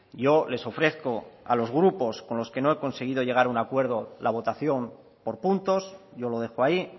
yo les ofrezco a los grupos con los que no he conseguido llegar a un acuerdo la votación por puntos yo lo dejo ahí